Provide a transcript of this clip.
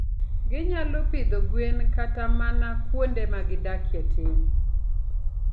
Ginyalo pidho gwen kata mana kuonde ma gidakie tin.